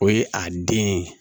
O ye a den ye